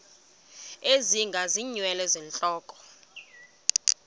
ezinga ngeenwele zentloko